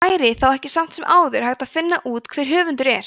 væri þá ekki samt sem áður hægt að finna út hver höfundur er